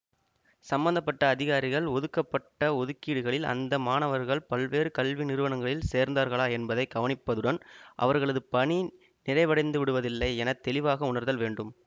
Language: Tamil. சம்பந்த பட்ட அதிகாரிகள் ஒதுக்கப்பட்ட ஒதுக்கீடுகளில் அந்த மாணவர்கள் பல்வேறு கல்வி நிறுவனங்களில் சேர்ந்தார்களா என்பதை கவனிப்பதுடன் அவர்களது பணி நிறைவடைந்துவிடுவதில்லை என தெளிவாக உணர்தல் வேண்டும்